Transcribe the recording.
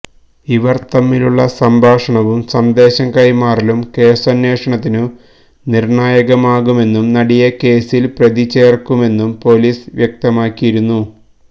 ഇവർ തമ്മിലുള്ള സംഭാഷണവും സന്ദേശം കൈമാറലും കേസന്വേഷണത്തിനു നിർണായകമാകുമെന്നും നടിയെ കേസിൽ പ്രതി ചേർക്കുമെന്നും പോലീസ് വ്യക്തമാക്കിയിരുന്നു